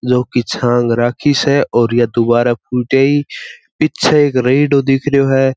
जो की छांग राखी से और ये दुबारा फुट आई पीछे एक रेडो दिखरो है।